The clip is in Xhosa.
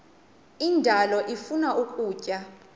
indalo ifuna ukutya